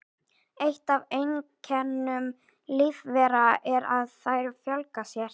Eitt af einkennum lífvera er að þær fjölga sér.